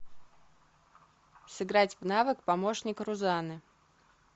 сыграть в навык помощник рузанны